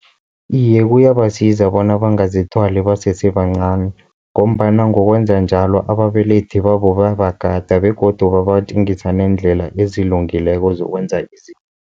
Iye, kuyabasiza bona bangazithwali basese bancani, ngombana ngokwenza njalo ababelethi babo bayabagada begodu babatjengisa neendlela ezilungileko zokwenza izinto.